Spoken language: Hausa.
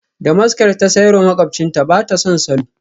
Damaskar ta sayar wa makwabcinta, ba ta son salon.